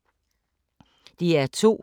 DR2